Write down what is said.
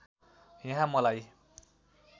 यहाँ मलाई